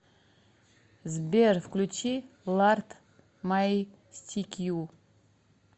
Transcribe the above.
сбер включи ларт майстикью